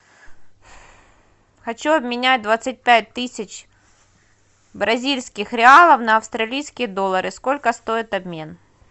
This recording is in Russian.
хочу обменять двадцать пять тысяч бразильских реалов на австралийские доллары сколько стоит обмен